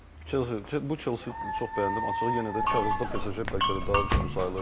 Bu Chelsea çox bəyəndim, açığı yenə də kağızda PSG bəlkə də daha üstün sayılırdı.